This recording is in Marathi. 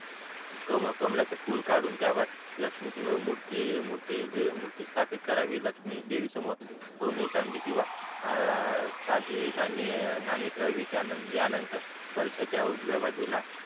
कमळाचे फुल काडून त्यावर मूर्ती मूर्ती मूर्ती स्थापित करावी लक्ष्मी देवी समोर सोने चांदी किंवा साधी नाणी नाणी ठेवावी त्या या नंतर कलशाचा उजव्या बाजूला